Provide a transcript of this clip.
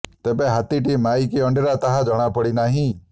ତେବେ ହାତୀଟି ମାଇ କି ଅଣ୍ଡିରା ତାହା ଜଣାପଡ଼ି ନାହିଁ